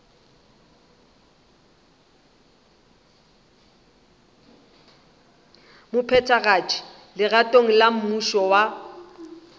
mophethagatši legatong la mmušo wa